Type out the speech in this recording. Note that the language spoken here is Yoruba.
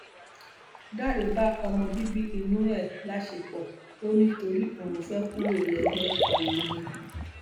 dáre bá ọmọ bíbí inú ẹ láṣepọ ò ní torí òun fẹẹ kúrò lẹgbẹ awo ni